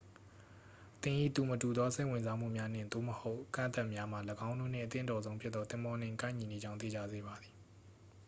သင်၏ သူမတူသော စိတ်ဝင်စားမှုများ နှင့်/သို့မဟုတ် အကန့်အသတ်များမှာ ၎င်းတို့နှင့် အသင့်တော်ဆုံးဖြစ်သော သင်္ဘောနှင့် ကိုက်ညီနေကြောင်း သေချာစေပါသည်။